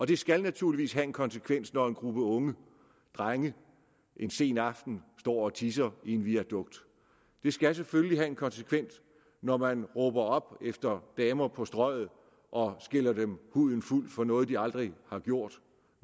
det skal naturligvis have en konsekvens når en gruppe unge drenge en sen aften står og tisser i en viadukt det skal selvfølgelig have en konsekvens når man råber efter damer på strøget og skælder dem huden fuld for noget de aldrig har gjort